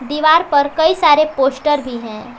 दीवार पर कई सारे पोस्टर भी हैं।